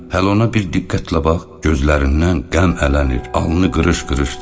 Hələ ona bir diqqətlə bax, gözlərindən qəm ələnir, alnı qırış-qırışdır.